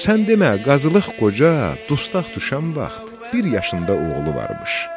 Sən demə Qazılıq Qoca dustaq düşən vaxt bir yaşında oğlu varmış.